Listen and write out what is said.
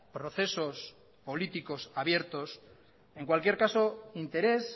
procesos políticos abiertos en cualquier caso interés